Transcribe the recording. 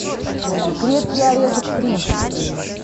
крепкий орешек три